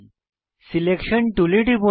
selection টুলে টিপুন